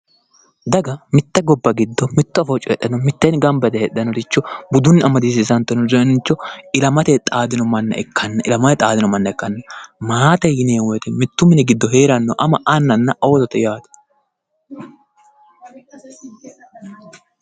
Daga mitte gobba giddo mitto afoo coyiidhanno mitteenni gamba yite heedhannoricho budunni amadisiisantinoricho ilamate xaadino manna ikkanna maate yineemmo woyiite mittu mini giddo heeranno ama annanna oosote yaaate